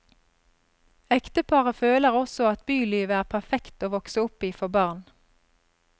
Ekteparet føler også at bylivet er perfekt å vokse opp i for barn.